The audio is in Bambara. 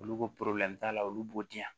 Olu ko t'a la olu b'o di yan